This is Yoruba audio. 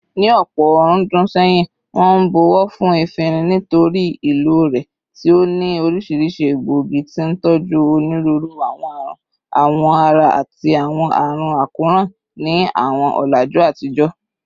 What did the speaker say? Ní ọ̀pọ̀ ọ̀rúndún sẹ́yìn, wọ́n ń bọ̀wọ̀ fún efinrin nítorí ìlò rẹ̀ tí ó ní oríṣiríṣi egbòogi, tí ń tọ́jú onírúurú àwọn àrùn awọ ara àti àwọn àrùn àkóràn ní àwọn ọ̀làjú àtijọ́.